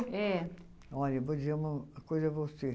é Olha, eu vou dizer uma coisa a você.